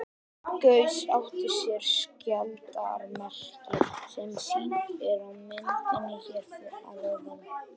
Gauss átti sér skjaldarmerki, sem sýnt er á myndinni hér að ofan.